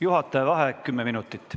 Juhataja vaheaeg kümme minutit.